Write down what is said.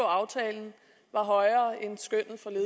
aftalen var højere og